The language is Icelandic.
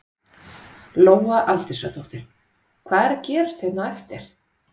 Lóa Aldísardóttir: Hvað er að gerast hérna á eftir?